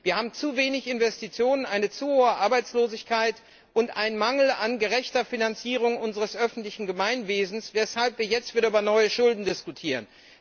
Wir haben zu wenig Investitionen, eine zu hohe Arbeitslosigkeit und einen Mangel an gerechter Finanzierung unseres öffentlichen Gemeinwesens, weshalb wir jetzt wieder über neue Schulden diskutieren.